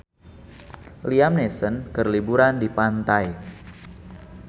Liam Neeson keur liburan di pantai